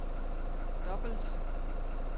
dobbelt